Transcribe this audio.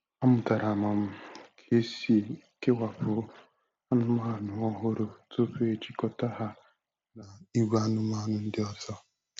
Amụtara um m ka esi kewapụ anụmanụ ọhụrụ tupu ejikọta ha na ìgwè anụmanụ ndị ọzọ.